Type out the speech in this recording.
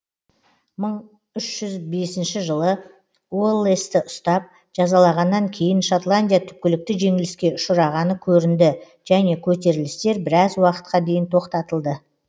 мың үш жүз бесінші жылы уоллесті ұстап жазалағаннан кейін шотландия түпкілікті жеңіліске ұшырағаны көрінді және көтерілістер біраз уақытқа дейін тоқтатылды